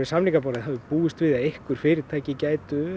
samningaborðið hafi búist við því að einhver fyrirtæki gætu